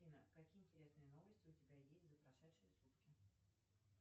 афина какие интересные новости у тебя есть за прошедшие сутки